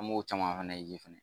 An m'o caman fɛnɛ ye fɛnɛ